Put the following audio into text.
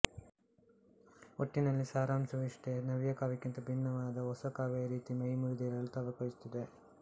ಒಟ್ಟಿನಲ್ಲಿ ಸಾರಾಂಶವಿಷ್ಟೆ ನವ್ಯಕಾವ್ಯಕ್ಕಿಂತ ಭಿನ್ನವಾದ ಹೊಸ ಕಾವ್ಯ ರೀತಿ ಮೈಮುರಿದೇಳಲು ತವಕಿಸುತ್ತಿದೆ